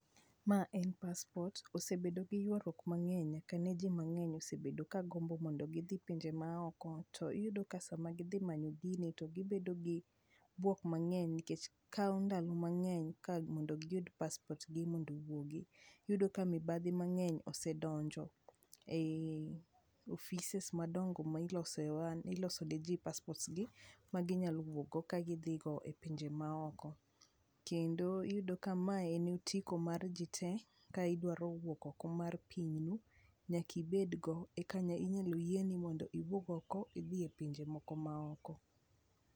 Ma en paspot, osebedo gi ywaruok mang'eny nyaka ne ji mang'eny osebedo ka gombo mondo gidhi e pinje maoko, to iyudo ka sama gidhi manyo gini, to gibedo gi bwok mang'eny nikech kawo ndalo mang'eny ka mondo giyud paspot gi mondo owuogi. Iyudo ka mibadhi mang'eny osedonjo ei offices [5cs] madongo ma ilose niji paspot gi maginyalo wuokgo kagidhigo e pinje maoko. Kendo iyudo ka ma en otiko mar ji te ka idwaro wuok oko mar pinyu, nyakibed go eka inyalo yienu mondo iwuog oko idhi e pinje moko maoko.